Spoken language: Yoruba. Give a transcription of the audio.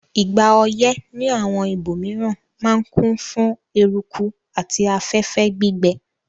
Ìgbà oyẹ́ ni àwon ibòmiran ma n kún fún eruku àti afẹ́fẹ́ gbígbẹ